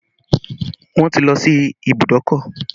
Wọn ti lọ sí ìbùdókọ̀